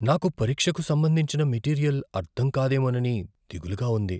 నాకు పరీక్షకు సంబంధించిన మెటీరియల్ అర్థం కాదేమోనని దిగులుగా ఉంది.